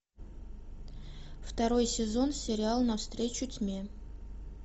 второй сезон сериал навстречу тьме